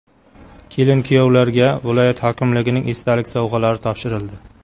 Kelin-kuyovlarga viloyat hokimligining esdalik sovg‘alari topshirildi.